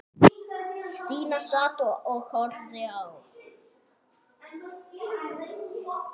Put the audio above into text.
Stína sat og horfði á.